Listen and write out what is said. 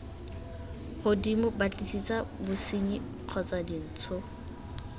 godimo batlisisa bosenyi kgotsa dintsho